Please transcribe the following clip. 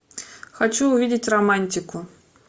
хочу увидеть романтику